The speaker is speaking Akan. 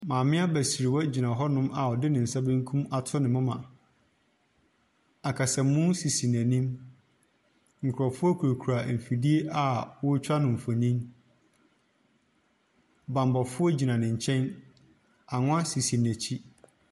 Maame abasriwa gyina hɔ nom a ɔde ne nsa benkum ato ne moma. Akasamu sisi n'enim, nkorɔfoɔ kurakura mfidie a wɔtwa no nfonin, banbɔfoɔ gyina ne kyɛn angwa sisi n'enim.